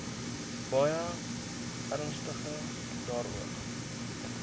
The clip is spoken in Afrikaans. baie ernstig daaroor